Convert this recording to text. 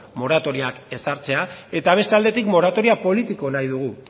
moratoriak ezartzea eta beste aldetik moratoria politikoa nahi dugu